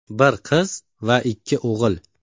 Bir qiz va ikki o‘g‘il.